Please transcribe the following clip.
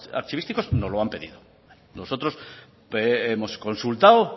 archivísticos nos lo han pedido nosotros hemos consultado